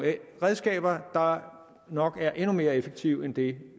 redskaber der nok er endnu mere effektive end det